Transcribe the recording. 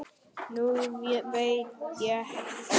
Nú veit ég það.